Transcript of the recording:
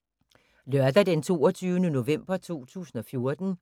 Lørdag d. 22. november 2014